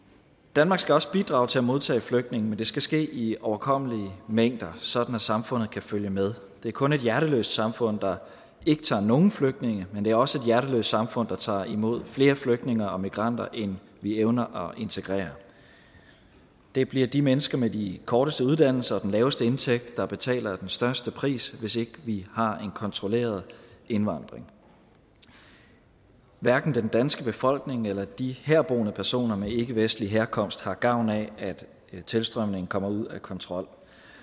danmark skal også bidrage til at modtage flygtninge men det skal ske i overkommelige mængder sådan at samfundet kan følge med det er kun et hjerteløst samfund der ikke tager nogen flygtninge men det er også et hjerteløst samfund der tager imod flere flygtninge og migranter end vi evner at integrere det bliver de mennesker med de korteste uddannelser og den laveste indtægt der betaler den største pris hvis ikke vi har en kontrolleret indvandring hverken den danske befolkning eller de herboende personer med ikkevestlig herkomst har gavn af at tilstrømningen kommer ud af kontrol